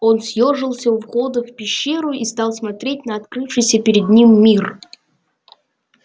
он съёжился у входа в пещеру и стал смотреть на открывшийся перед ним мир